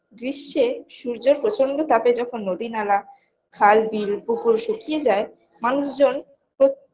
গ্রীস্মে সূর্যর প্রচন্ড তাপে যখন নদী নালা খাল বিল পুকুর শুকিয়ে যায় মানুষজন প্রত~